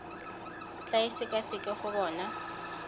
tla e sekaseka go bona